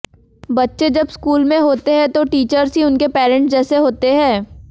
बच्चे जब स्कूल में होते हैं तो टीचर्स ही उनके परेंट्स जैसे होते हैं